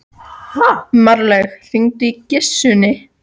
Marlaug, hringdu í Gissunni.